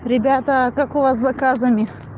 ребята как у вас заказами